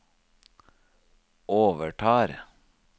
overtar